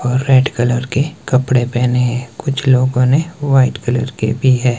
और red colour के कपड़े पहने हैं कुछ लोगों ने व्हाइट कलर के भी है।